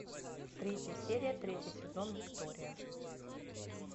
третья серия третий сезон виктория